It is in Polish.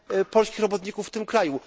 polskich robotników w tym kraju.